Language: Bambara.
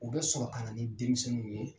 U bɛ sɔrɔ a na ni denmisɛnninw ye.